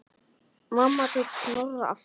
Mamma tók Snorra aftur.